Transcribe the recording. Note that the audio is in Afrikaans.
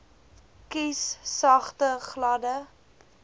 kies sagte gladde